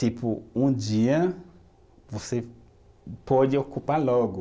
Tipo, um dia, você pode ocupar logo.